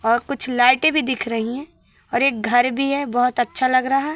और कुछ लाइटें भी दिख रही हैं और एक घर भी है बहोत अच्छा लग रहा --